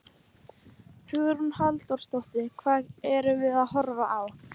Hugrún Halldórsdóttir: Hvað erum við að horfa á?